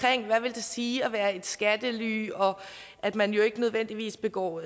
vil sige at være et skattely og at man jo ikke nødvendigvis begår